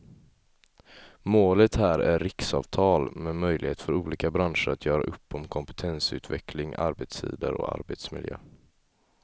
Målet här är riksavtal med möjlighet för olika branscher att göra upp om kompetensutveckling, arbetstider och arbetsmiljö.